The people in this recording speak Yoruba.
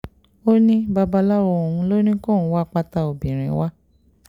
ó ní babaláwo òun ló ní kóun wá pátá obìnrin wa